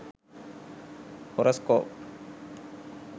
horescope